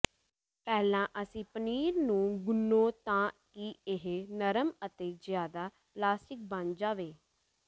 ਪਹਿਲਾਂ ਅਸੀਂ ਪਨੀਰ ਨੂੰ ਗੁਨ੍ਹੋ ਤਾਂ ਕਿ ਇਹ ਨਰਮ ਅਤੇ ਜ਼ਿਆਦਾ ਪਲਾਸਟਿਕ ਬਣ ਜਾਵੇ